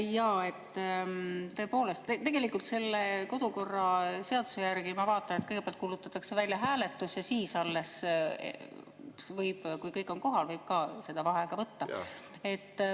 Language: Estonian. Jaa, tõepoolest, tegelikult kodukorraseaduse järgi, ma vaatan, kõigepealt kuulutatakse välja hääletus ja alles siis, kui kõik on kohal, võib ka vaheaega võtta.